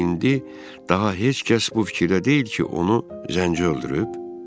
Deməli indi daha heç kəs bu fikirdə deyil ki, onu zənci öldürüb?